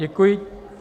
Děkuji.